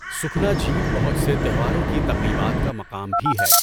سُکھنا جھیل بہت سے تہواروں کی تقریبات کا مقام بھی ہے۔